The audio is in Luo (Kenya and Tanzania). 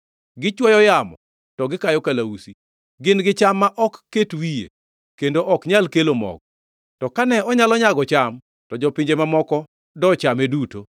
“Gichwoyo yamo to gikayo kalausi. Gin gi cham ma ok ket wiye; kendo ok onyal kelo mogo. To kane onyalo nyago cham, to jopinje mamoko dochame duto.